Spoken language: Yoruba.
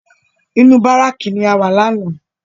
Inú bárákì ni a wà lánàá